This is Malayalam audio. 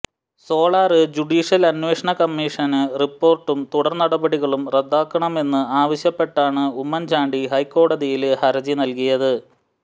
സോളാര് ജുഡീഷ്യല് അന്വേഷണ കമ്മിഷന് റിപ്പോര്ട്ടും തുടര് നടപടികളും റദ്ദാക്കണമെന്ന് ആവശ്യപ്പെട്ടാണ് ഉമ്മന്ചാണ്ടി ഹൈക്കോടതിയിൽ ഹര്ജി നല്കിയത്